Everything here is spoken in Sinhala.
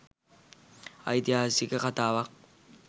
ඓතිහාසික කතාවක්